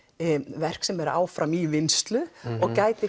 verk sem er áfram í vinnslu og gæti